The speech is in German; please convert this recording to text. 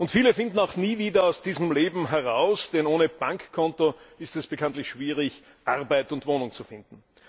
Und viele finden auch nie wieder aus diesem Leben heraus, denn ohne Bankkonto ist es bekanntlich schwierig, Arbeit und Wohnung zu finden.